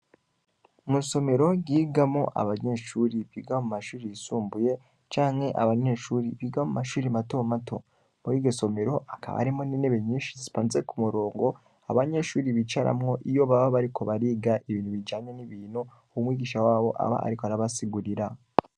Mw'isomero ryigamwo abanyeshure biga mu mashure y'isumbuye, canke abanyeshure biga mu mashure mato mato, muriryo somero hakaba harimwo n'intebe nyinshi, zipanze k'umurongo abanyeshure bicaramwo iyo baba bariko bariga ibintu bijanye n'ibintu umwigisha wabo aba ariko arabasigurira.